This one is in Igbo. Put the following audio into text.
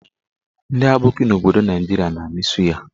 Ndị aboki n'obodo Naijiria na-amị suya.